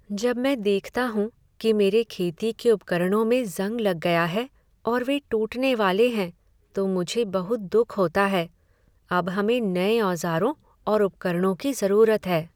जब मैं देखता हूँ कि मेरे खेती के उपकरणों में जंग लग गया है और वे टूटने वाले हैं तो मुझे बहुत दुख होता है। अब हमें नए औजारों और उपकरणों की ज़रूरत है।